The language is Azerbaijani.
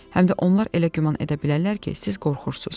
Həm də onlar elə güman edə bilərlər ki, siz qorxursunuz.